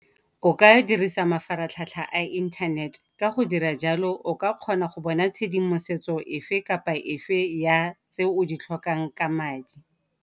O ka dirisa mafaratlhatlha a inthanete ka go dira jalo o ka kgona go bona tshedimosetso efe kapa efe ya tseo o di tlhokang ka madi.